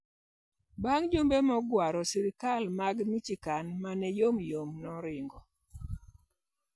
Bang ' jumbe mogwaro, sirkal mar Michoacan ma ne yomyom ne oringo.